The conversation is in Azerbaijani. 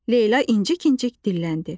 Leyla incik-incik dilləndi.